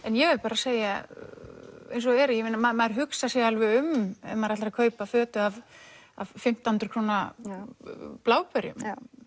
ég verð bara að segja eins og er að maður hugsar sig alveg um ef maður ætlar að kaupa fötu af fimmtán hundruð krónur bláberjum